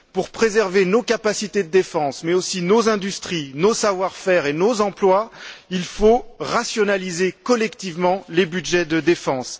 Pour préserver nos capacités de défense, mais aussi nos industries, nos savoir faire et nos emplois, il faut rationaliser collectivement les budgets de défense.